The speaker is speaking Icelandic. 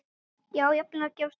Já, jafnvel að gefast upp.